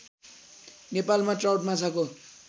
नेपालमा ट्राउट माछाको